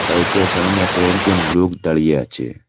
বাইকের সামনে কয়েকজন লোক দাঁড়িয়ে আছে।